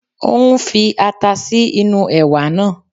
Ó ń fi ata sí inú ẹ̀wà náà